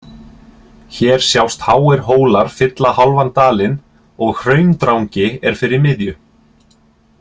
Hér sjást háir hólar fylla hálfan dalinn og Hraundrangi er fyrir miðju